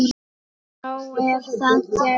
Þá er það gert.